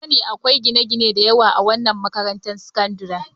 Kun sani akwai gine-gine da yawa a wannan makarantar sakandare?